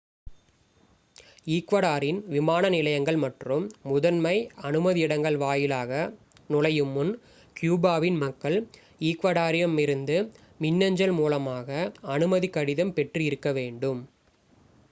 ஈக்வடரின் விமான நிலையங்கள் மற்றும் முதன்மை அனுமதி இடங்கள் வாயிலாக நுழையும் முன் கியூபாவின் மக்கள் ஈக்வடரிடம் இருந்து மின்னஞ்சல் மூலமாக அனுமதி கடிதம் பெற்று இருக்க வேண்டும்